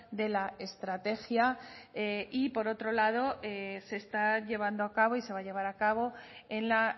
de la estrategia y por otro lado se está llevando a cabo y se va a llevar a cabo en la